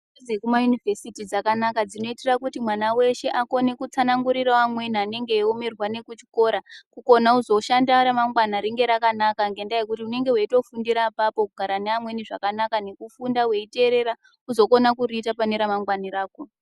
Dzidzo dzekumayunivhesiti dzakanaka dzinoita mwana weshe akone kutsanangurirawo amweni anenge eyiwonerwa nekuchikora kukuona kuzoshanda ramangwani rinenge yakanaka ngendaa yekuti unenge weyitofundira pona ipapo kugara nevamweni zvakanaka nekufunda weyiterera uzokona kuriita pane ramangwani rako.